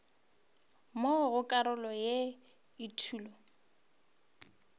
mo go karolo ya etulo